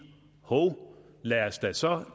hov lad os da så